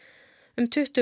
um tuttugu